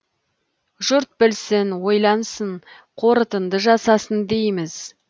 жұрт білсін ойлансын қортынды жасасын дейміз